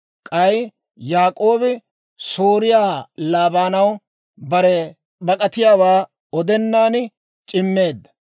K'ay Yaak'oobi Sooriyaa Laabaanaw bare bak'atiyaawaa odenaan c'immeedda.